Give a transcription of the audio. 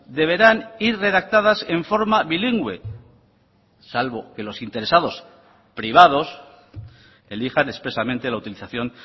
deberán ir redactadas en forma bilingüe salvo que los interesados privados elijan expresamente la utilización